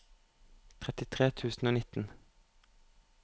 trettitre tusen og nitten